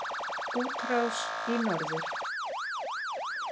Útrás í norður